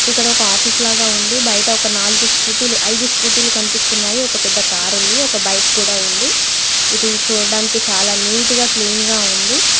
ఇక్కడ ఒక ఆఫీస్ లాగా ఉంది. బయట ఒక నాలుగు స్కూటీ లు ఐదు స్కూటీ లు కనిపిస్తున్నాయి. ఒక పెద్ద కార్ ఉంది. ఒక బైక్ కూడా ఉంది. ఇది చూడ్డానికి చాలా నీట్ గా క్లీన్ గా ఉంది.